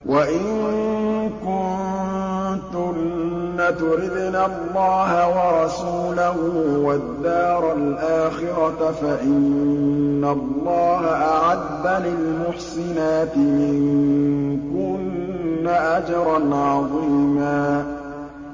وَإِن كُنتُنَّ تُرِدْنَ اللَّهَ وَرَسُولَهُ وَالدَّارَ الْآخِرَةَ فَإِنَّ اللَّهَ أَعَدَّ لِلْمُحْسِنَاتِ مِنكُنَّ أَجْرًا عَظِيمًا